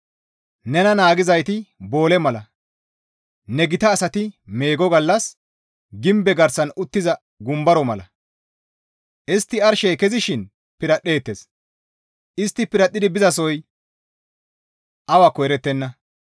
Nena naagizayti boole mala; ne gita asati meego gallas gimbe garsan uttiza gumbaro mala. Istti arshey kezishin piradhdheettes; istti piradhdhi bizasoy awakko erettenna.